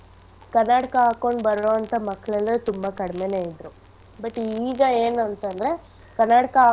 ಕನ್ನಡಕ ಹಾಕ್ಕೊಂಡು ಬರೋಂಥ ಮಕ್ಳೆಲ್ಲ ತುಂಬಾ ಕಡ್ಮೆನೇ ಇದ್ರು but ಈಗ ಏನಂತಂದ್ರೆ ಕನ್ನಡಕ.